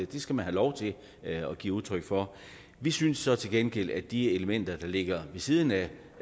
det skal man have lov til at give udtryk for vi synes så til gengæld at de elementer der ligger ved siden af